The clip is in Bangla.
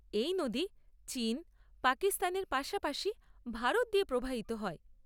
এই নদী চীন, পাকিস্তানের পাশাপাশি ভারত দিয়ে প্রবাহিত হয়।